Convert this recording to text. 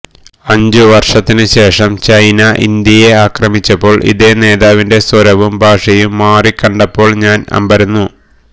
അഞ്ചു വർഷത്തിന് ശേഷം ചൈന ഇന്ത്യയെ ആക്രമിച്ചപ്പോൾ ഇതേ നേതാവിന്റെ സ്വരവും ഭാഷയും മാറിക്കണ്ടപ്പോൾ ഞാൻ അമ്പരന്നു